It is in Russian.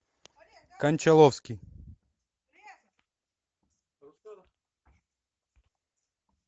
кончаловский